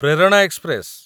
Prerana express